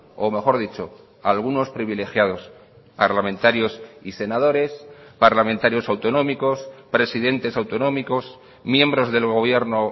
o mejor dicho algunos privilegiados parlamentarios y senadores parlamentarios autonómicos presidentes autonómicos miembros del gobierno